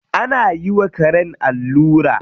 Ana yi wa karen allura.